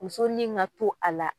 Mussonin ka to a la.